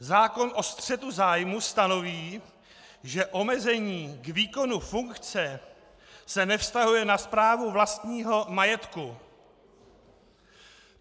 Zákon o střetu zájmů stanoví, že omezení k výkonu funkce se nevztahuje na správu vlastního majetku.